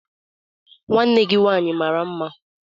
Nwanne gi nwanyi mara mma?